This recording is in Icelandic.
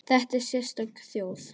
Þetta er sérstök þjóð.